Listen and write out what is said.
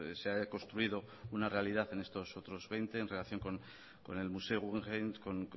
se ha construido una realidad en estos otros veinte en relación con el museo guggenheim con